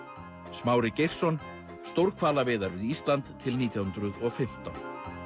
Smári Geirsson stórhvalaveiðar við Ísland til nítján hundruð og fimmtán